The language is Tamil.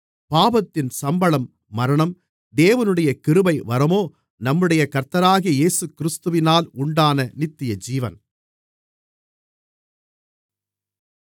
பாவத்தின் சம்பளம் மரணம் தேவனுடைய கிருபைவரமோ நம்முடைய கர்த்தராகிய இயேசுகிறிஸ்துவினால் உண்டான நித்தியஜீவன்